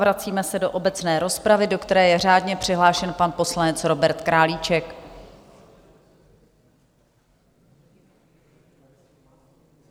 Vracíme se do obecné rozpravy, do které je řádně přihlášen pan poslanec Robert Králíček.